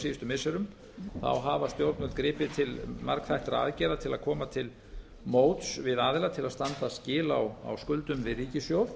síðustu missirum hafa stjórnvöld gripið til margþættra aðgerða til að koma til móts við aðila til að standa skil á skuldum við ríkissjóð